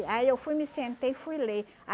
Aí eu fui, me sentei, fui ler.